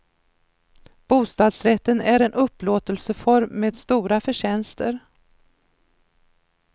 Bostadsrätten är en upplåtelseform med stora förtjänster.